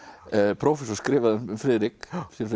prófessor skrifaði um séra Friðrik